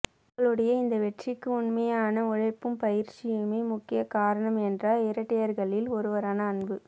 எங்களுடைய இந்த வெற்றிக்கு உண்மையான உழைப்பும் பயிற்சியுமே முக்கிய காரணம் என்றார் இரட்டையர்களில் ஒருவரான அன்பு